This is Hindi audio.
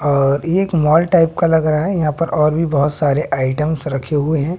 और ये एक मॉल टाइप का लग रहा है यहां पर और भी बहोत सारे आइटम्स रखे हुए हैं।